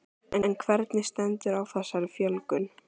En hvernig stendur á þessari fjölgun?